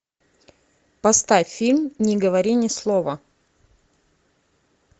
поставь фильм не говори ни слова